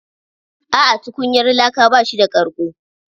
Aa tukunyar laka ba shi da karƙo.